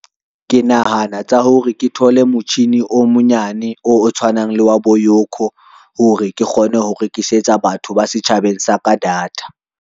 Ke nahana tsa hore ke thole motjhini o monyane o tshwanang le wa bo YOCO hore ke kgone ho rekisetsa batho ba setjhabeng sa ka data.